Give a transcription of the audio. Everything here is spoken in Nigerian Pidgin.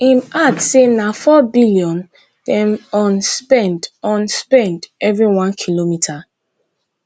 im add say na four billion dem on spend on spend every one kilometre